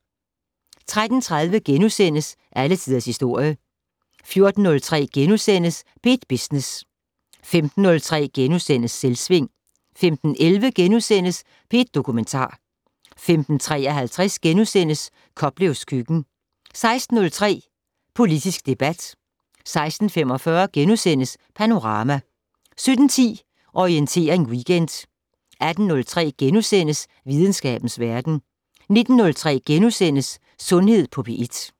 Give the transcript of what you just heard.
13:30: Alle tiders historie * 14:03: P1 Business * 15:03: Selvsving * 15:11: P1 Dokumentar * 15:53: Koplevs køkken * 16:03: Politisk debat 16:45: Panorama * 17:10: Orientering Weekend 18:03: Videnskabens verden * 19:03: Sundhed på P1 *